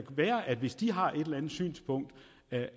være hvis de har et eller andet synspunkt